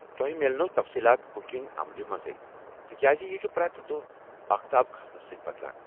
تۄہہ میلنو تفصیٖلات بُکِنگ عملہِ منٛزے، تِکیٛازِ یہِ چُھ پرٛٮ۪تھ دۄہہ اختاب کھسنہٕ سۭتۍ بدلان۔